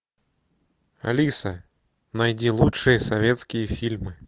алиса найди лучшие советские фильмы